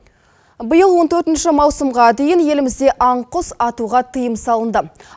биыл он төртінші маусымға дейін елімізде аң құс атуға тыйым салынды